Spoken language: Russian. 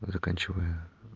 заканчиваю